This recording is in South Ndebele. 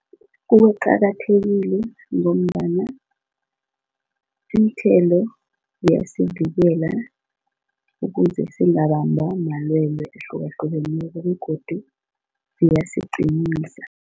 Kuqakathekile ngombana iinthelo ziyasivikela ukuze singabambwa malwele ahlukahlukeneko begodu ziyasiqinisa.